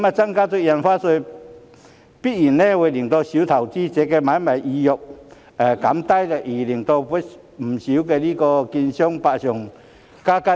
增加印花稅必然會降低小投資者的買賣意欲，令不少券商百上加斤。